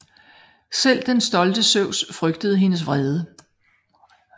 Selv den stolte Zeus frygtede hendes vrede